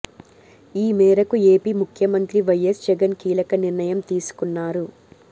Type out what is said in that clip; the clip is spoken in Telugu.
ఈ మేరకు ఏపీ ముఖ్యమంత్రి వైఎస్ జగన్ కీలక నిర్ణయం తీసుకున్నారు